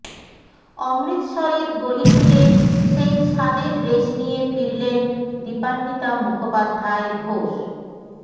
অমৃতসরের গলি থেকে সেই স্বাদের রেশ নিয়ে ফিরলেন দীপান্বিতা মুখোপাধ্যায় ঘোষ